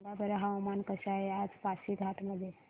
सांगा बरं हवामान कसे आहे आज पासीघाट मध्ये